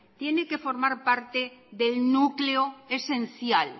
tiene que formar parte del núcleo esencial